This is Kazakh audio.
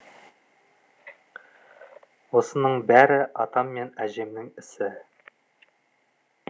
осының бәрі атам мен әжемнің ісі